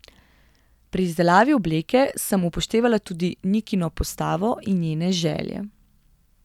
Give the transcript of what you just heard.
Pri izdelavi obleke sem upoštevala tudi Nikino postavo in njene želje.